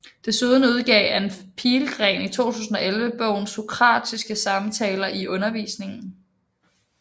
Desuden udgav Ann Pihlgren i 2011 bogen Sokratiske samtaler i undervisningen